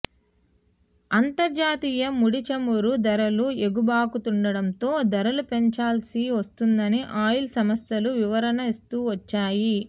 అంతర్జాతీయ ముడిచమురు ధరలు ఎగబాకుతుండటంతో ధరలు పెంచాల్సి వస్తోందని ఆయిల్ సంస్థలు వివరణ ఇస్తూ వచ్చాయి